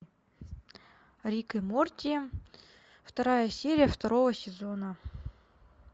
рик и морти вторая серия второго сезона